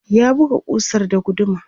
ya buga kusar da guduma